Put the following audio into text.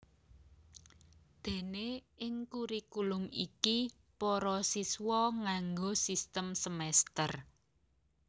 Déné ing kurikulum iki para siswa nganggo sistem semèster